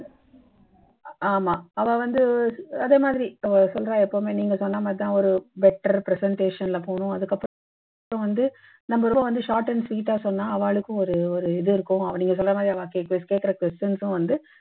ஆமா அவா வந்து அதே மாதிரி அஹ் சொல்றா எப்பவுமே நீங்க சொன்ன மாதிரிதான் ஒரு better presentation ல போனும் அதுக்கப் புறம் வந்து நம்ப ரொம்ப வந்து short and sweet ஆ சொன்னா அவாளுக்கும் ஒரு ஒரு இது இருக்கும் நீங்க சொல்ற மாதிரி அவா கேட்கிற கேட்கிற questions ம் வந்து